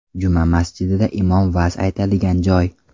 Juma masjidida imom va’z aytadigan joy.